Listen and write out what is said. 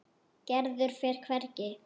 Gerður fer hvergi.